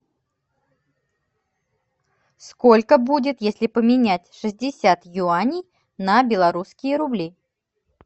сколько будет если поменять шестьдесят юаней на белорусские рубли